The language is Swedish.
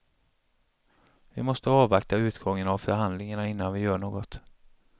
Vi måste avvakta utgången av förhandlingarna, innan vi gör något.